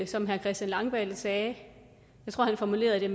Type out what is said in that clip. som herre christian langballe sagde jeg tror han formulerede det